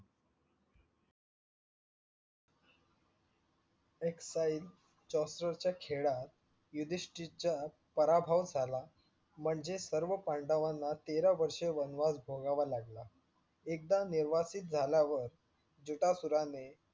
च्या खेळात युधीष्टीरचा पराभव झाला, म्हणजे सर्व पांडवांना तेरा वर्ष वनवास भोगावा लागला. एकदा नेवास्तीत झाल्यावर जुटासुराने